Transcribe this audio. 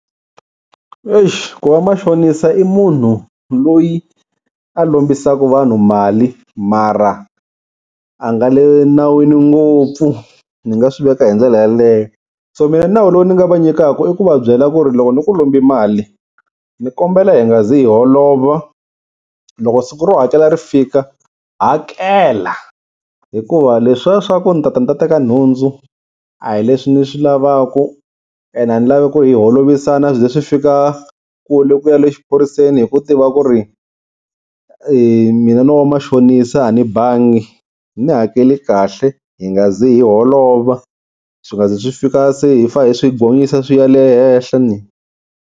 Eish ku va machonisa i munhu loyi a lombisaka vanhu mali mara a nga le nawini ngopfu ni nga swi veka hi ndlela yeleyo. So mina nawu lowu ni nga va nyikaka i ku va byela ku ri loko ni ku lombi mali, ni kombela hi nga zi hi holova loko siku ro hakela ri fika hakela, hikuva leswiya swaku ni tata ni ta teka nhundzu a hi leswi ndzi swi lavaku, and a ni lavi ku hi holovisana swi ze swi fika kule ku ya le exiphoriseni hi ku tiva ku ri mina no va machonisa a ni bangi. Ni hakeli kahle hi nga ze hi holova swi nga ze swi fika se hi fa hi swi gonyisa swi ya le henhla ni.